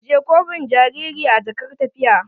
Ajiye kofin jariri a jakar tafiya.